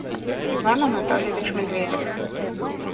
иван анатольевич медведев